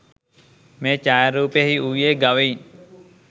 මේ ඡායාරූපයෙහි වූයේ ගවයින්